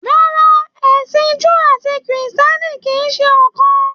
Rárá, ẹsìn Júù àti Krìstìẹ́nì kìí ṣe ọ̀kan.